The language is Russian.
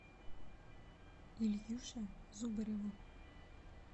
ильюше зубареву